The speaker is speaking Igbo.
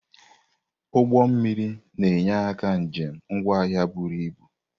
Ụgbọ mmiri na-enye aka njem ngwa ahịa iburu ibu.